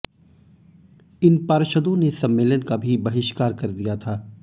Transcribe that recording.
इन पार्षदों ने सम्मेलन का भी बहिष्कार कर दिया था